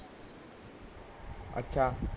ਅੱਛਾ